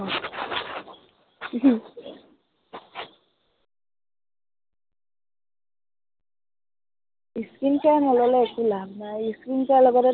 skin care নললে একো লাভ নাই। skin care লগতেতো